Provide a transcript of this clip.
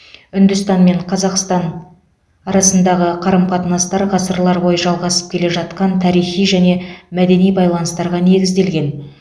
үндістан мен қазақстан арасындағы қарым қатынастар ғасырлар бойы жалғасып келе жатқан тарихи және мәдени байланыстарға негізделген